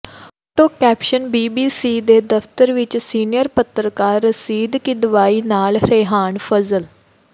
photo caption BBC ਦੇ ਦਫਤਰ ਵਿੱਚ ਸੀਨੀਅਰ ਪੱਤਰਕਾਰ ਰਸ਼ੀਦ ਕਿਦਵਈ ਨਾਲ ਰੇਹਾਨ ਫਜ਼ਲ